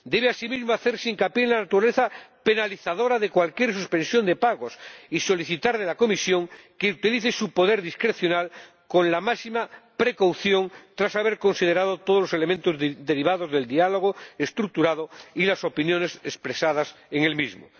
Debe asimismo hacerse hincapié en la naturaleza penalizadora de cualquier suspensión de pagos y solicitar de la Comisión que utilice su poder discrecional con la máxima precaución, tras haber considerado todos los elementos derivados del diálogo estructurado y las opiniones expresadas en el mismo.